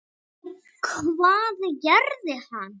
Og hvað gerði hann?